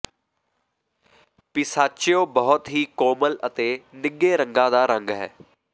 pistachio ਬਹੁਤ ਹੀ ਕੋਮਲ ਅਤੇ ਨਿੱਘੇ ਰੰਗਾਂ ਦਾ ਰੰਗ ਹੈ